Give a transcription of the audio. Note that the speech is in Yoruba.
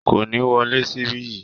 Kò ni wọlé síbí yìí